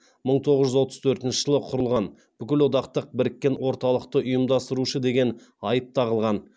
мың тоғыз жүз отыз төртінші жылы құрылған бүкілодақтық біріккен орталықты ұйымдастырушы деген айып тағылған